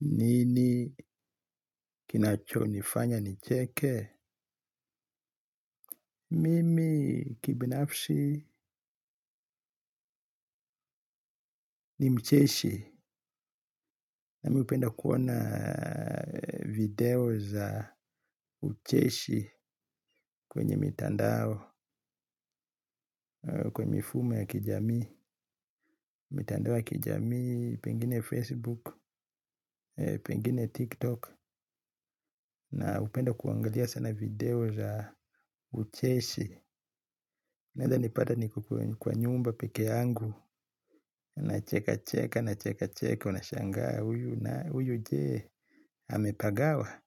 Nini kinacho nifanya nicheke? Mimi kibinafsi ni mcheshi. Na mi upenda kuona video za ucheshi kwenye mitandao, kwenye mifumo ya kijami. Mitandao ya kijamii, pengine Facebook, pengine TikTok. Na upenda kuangalia sana video za ucheshi. Neza nipata niko kwa nyumba peke yangu, na cheka cheka, na cheka cheka, na cheka cheka, unashangaa huyu na huyu jee amepagawa.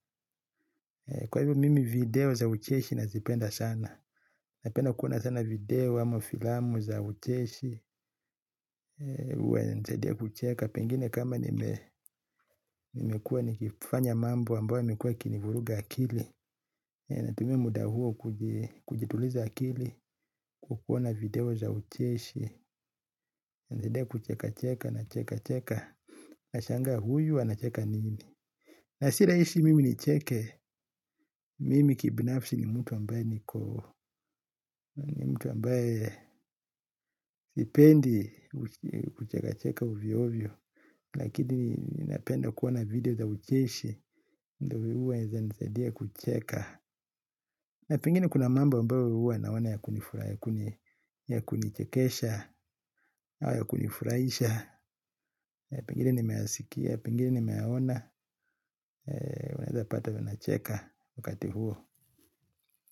Kwa hivyo mimi video za ucheshi nazipenda sana. Napenda kuona sana video ama filamu za ucheshi, uwainanisadia kucheka. Pengine kama nimekua nikifanya mambo ambayo yamekua kinivuruga akili, natumia muda huo kujituliza akili kwa kuona video za ucheshi nisaidia kucheka cheka na cheka cheka. Naashanga huyu anacheka nini. Na si rahisi mimi ni cheke. Mimi kibinafsi ni mtu ambaye niko ni mtu ambaye sipendi kucheka cheka ovyo ovyo. Lakini napenda kuona video za ucheshi. Ndo huwa zanisaidia kucheka. Na pengine kuna mambo huwa naona ya kunifura ya kunichekesha au ya kunifuraisha pengine nimeyasikia, pengine nimeyaona unaeza pata ninacheka wakati huo.